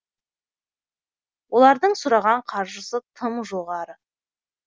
олардың сұраған қаржысы тым жоғары